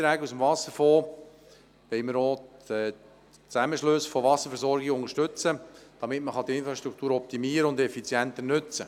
Mit Beiträgen aus dem Wasserfonds wollen wir auch den Zusammenschluss von Wasserversorgungen unterstützen, um die Infrastruktur zu optimieren und diese effizienter zu nutzen.